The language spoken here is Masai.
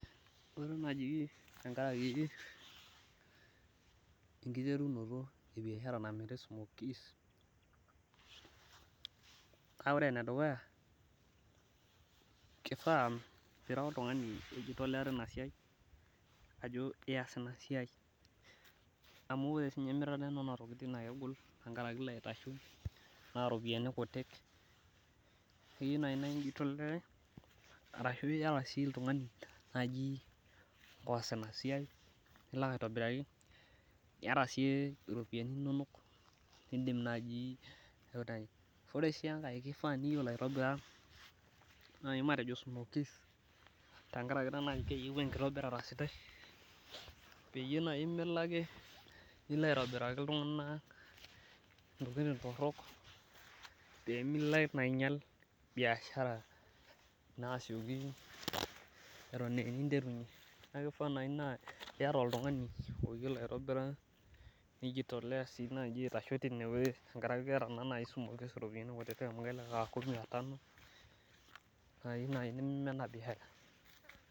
ore naaji biashara kiti naa ene sumoki naa oltungani ojitolea tina siai ajo kees ina siai amu ore sii ninye emirata enana tokitin naa, naa keyieu naa ijitolea ashu iyata oltungani nikisaidia, naa ilak aitobiraki ore sii enkae kifaa naa iyiolo aitobira, smokies tenkaraki taa keyieu oltungani oyiolo oleng pee milo ake atobir intorok amu isioki naa aingial biashara, amu keeta naa sumoki iropiyiani oleng.